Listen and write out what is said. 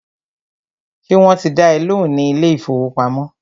Ṣé wọ́n ti dá ẹ lóhùn ní ilé ìfọwọ́pamo?